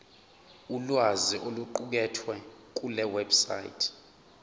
ulwazi oluqukethwe kulewebsite